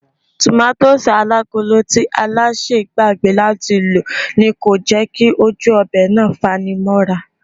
Tòmátósì alágolo tí Alásè gbàgbé láti lò ni kò jẹ́ kí ojú ọbẹ̀ náà fanimóra